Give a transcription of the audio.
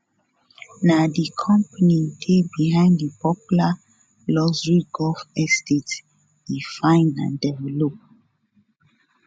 na di company dey behind di popular luxury golf estate e find and develop